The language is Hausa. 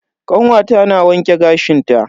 Kanwata na wanke gashin ta.